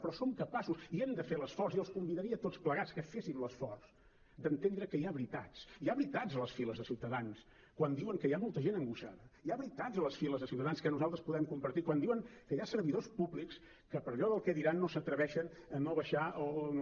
però som capaços i hem de fer l’esforç i els convidaria a tots plegats que fessin l’esforç d’entendre que hi ha veritats hi ha veritats a les files de ciutadans quan diuen que hi ha molta gent angoixada hi ha veritats a les files de ciutadans que nosaltres podem compartir quan diuen que hi ha servidors públics que per allò del què diran no s’atreveixen a no baixar o no